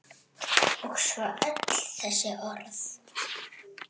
Og svo öll þessi orð.